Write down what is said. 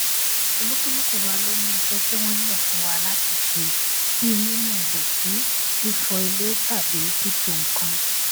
olúkúlùkù wa ló ní iṣé tí wón yàn fún wa láti ṣe bíi nínu ìdọtí fífọ ilè tàbí títò nǹkan